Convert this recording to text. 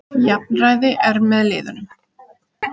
Jafnræði er með liðunum.